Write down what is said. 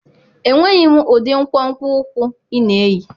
Enweghị m ụdị nkwonkwo ụkwụ ị na-eyi